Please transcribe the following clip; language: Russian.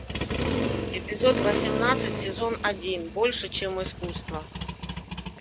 эпизод восемнадцать сезон один больше чем искусство